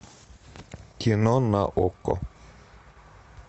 кино на окко